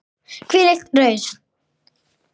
Hvílík rausn!!